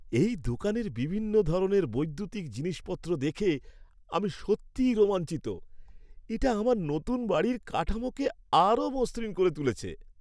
এই দোকানের বিভিন্ন ধরনের বৈদ্যুতিক জিনিসপত্র দেখে আমি সত্যিই রোমাঞ্চিত। এটা আমার নতুন বাড়ির কাঠামোকে আরও মসৃণ করে তুলছে।